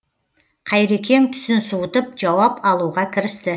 қайрекең түсін суытып жауап алуға кірісті